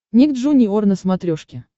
ник джуниор на смотрешке